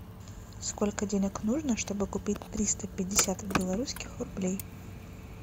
сколько денег нужно чтобы купить триста пятьдесят белорусских рублей